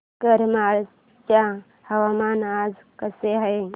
करमाळ्याचे हवामान आज कसे आहे